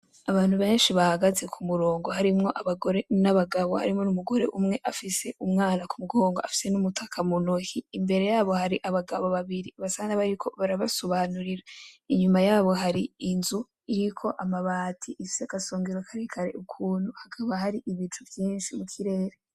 Abantu benshi bahagaze kumurongo harimwo abagore n'abagabo harimwo n'umugore umwe afise umwana ku mugongo afise n'umutaka mu ntoke imbere yabo hari abagabo babiri basa nabariko barabasobanurira, inyuma yabo hari inzu iriko amabati ifise agasengero karekare ukuntu hakaba hari ibicu vyinshi mukirere.